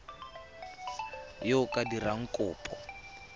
yo o ka dirang kopo